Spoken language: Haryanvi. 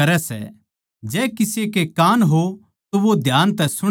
जै किसे के कान हो तो वो ध्यान तै सुण ले